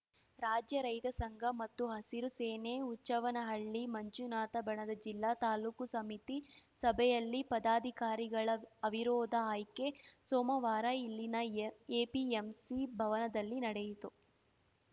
ರಾಜ್ಯ ರೈತ ಸಂಘ ಮತ್ತು ಹಸಿರು ಸೇನೆ ಹುಚ್ಚವ್ವನಹಳ್ಳಿ ಮಂಜುನಾಥ ಬಣದ ಜಿಲ್ಲಾ ತಾಲೂಕು ಸಮಿತಿ ಸಭೆಯಲ್ಲಿ ಪದಾಧಿಕಾರಿಗಳ ಅವಿರೋಧ ಆಯ್ಕೆ ಸೋಮವಾರ ಇಲ್ಲಿನ ಎಪಿಎಂಸಿ ಭವನದಲ್ಲಿ ನಡೆಯಿತು